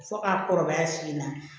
Fo ka kɔrɔbaya fiye na